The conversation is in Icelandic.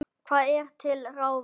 Hvað er til ráða